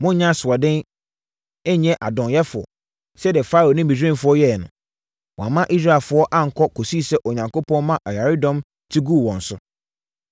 Monnyɛ asoɔden, nnyɛ adɔnyɛfoɔ, sɛdeɛ Farao ne Misraimfoɔ yɛeɛ no. Wɔamma Israelfoɔ ankɔ kɔsii sɛ Onyankopɔn maa ɔyaredɔm te guu wɔn so.